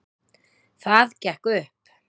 Það gekk upp